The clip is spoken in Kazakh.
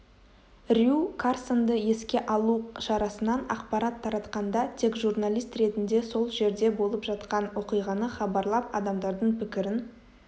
рью карсонды еске алу шарасынан ақпарат таратқанда тек журналист ретінде сол жерде болып жатқан оқиғаны хабарлап адамдардың пікірін